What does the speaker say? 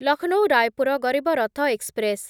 Lucknow Raipur Garib Rath express